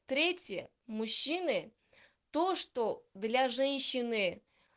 третье мужчины то что для женщины